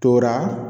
Tora